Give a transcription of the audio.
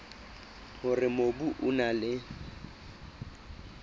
hore mobu o na le